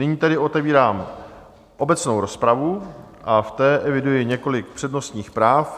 Nyní tedy otevírám obecnou rozpravu a v té eviduji několik přednostních práv.